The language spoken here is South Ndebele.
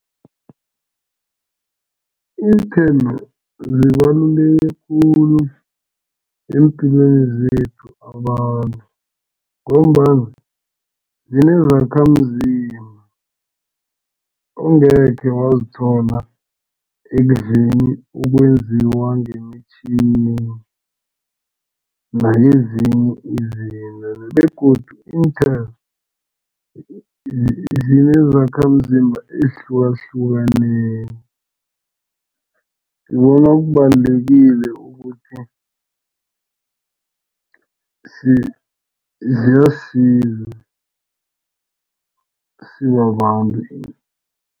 Iinthelo zibaluleke khulu eempilweni zethu abantu ngombana zinezakhamzimba ongeke wazithola ekudleni okwenziwa ngemitjhini, nakezinye izinto begodu iinthelo, zinezakhamzimba ezihlukahlukeneko ngibona kubalulekile ukuthi ziyasisiza sibabantu.